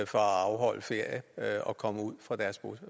for at afholde ferie og komme ud fra deres